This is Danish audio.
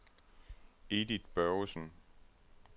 Edith Børgesen